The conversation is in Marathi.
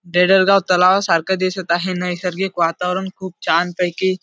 डेडर गाव तलाव सारखं दिसत आहे नैसर्गिक वातावरण खूप छान पैकी--